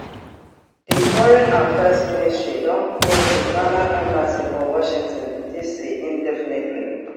di foreign affairs ministry don close di ghana embassy for washington dc indefinitely